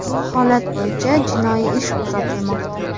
Holat bo‘yicha jinoiy ish qo‘zg‘atilmoqda.